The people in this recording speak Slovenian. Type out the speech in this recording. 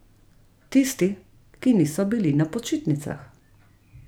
Tisti, ki niso bili na počitnicah.